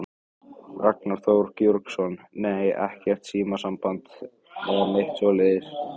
Ragnar Þór Georgsson: Nei, ekkert símasamband eða neitt svoleiðis?